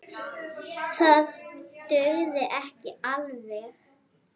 Það dugði ekki alveg.